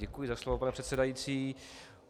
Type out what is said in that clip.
Děkuji za slovo, pane předsedající.